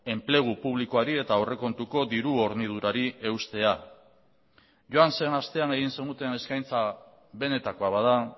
enplegu publikoari eta aurrekontuko diru hornidurari eustea joan zen astean egin zenuten eskaintza benetakoa bada